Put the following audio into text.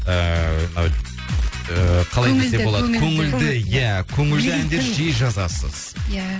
ыыы қалай десек болады көңілді иә көңілді әндер жиі жазасыз иә